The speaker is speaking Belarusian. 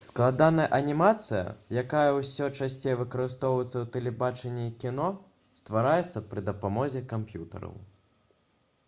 складаная анімацыя якая ўсё часцей выкарыстоўваецца ў тэлебачанні і кіно ствараецца пры дапамозе камп'ютараў